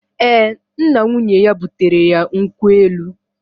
Ee, nna nwunye ya butere ya nkwụ elu